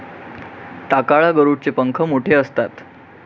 टाकाळा गरुड चे पंख मोठे असतात